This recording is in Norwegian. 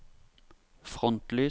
frontlys